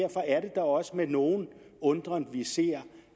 da også med nogen undren vi ser